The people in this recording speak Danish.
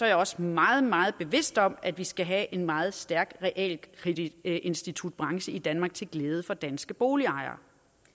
jeg også meget meget bevidst om at vi skal have en meget stærk realkreditinstitutbranche i danmark til glæde for danske boligejere